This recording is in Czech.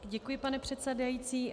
Děkuji, pane předsedající.